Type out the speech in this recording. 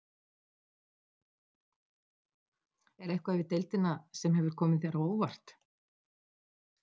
Er eitthvað við deildina sem hefur komið þér á óvart?